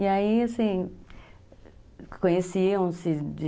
E aí, assim, conheciam-se de...